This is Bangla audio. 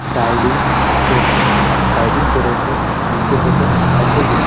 সাইডিং করছে সাইডিং করে করে নিচে দিকো এসে গেল।